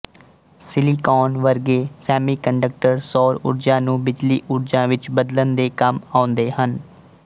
silicon ਵਰਗੇ semiconductor ਸੌਰ ਊਰਜਾ ਨੂੰ ਬਿਜਲੀ ਊਰਜਾ ਵਿੱਚ ਬਦਲਣ ਦੇ ਕੰਮ ਆਉਂਦੇ ਹਨ